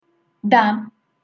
да